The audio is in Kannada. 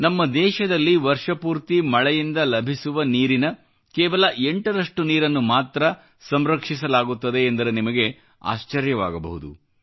ನಮ್ಮ ದೇಶದಲ್ಲಿ ವರ್ಷಪೂರ್ತಿ ಮಳೆಯಿಂದ ಲಭಿಸುವ ನೀರಿನ ಕೇವಲ 8 ರಷ್ಟು ನೀರನ್ನು ಮಾತ್ರ ಸಂರಕ್ಷಿಸಲಾಗುತ್ತದೆ ಎಂದರೆ ನಿಮಗೆ ಆಶ್ಚರ್ಯವಾಗಬಹುದು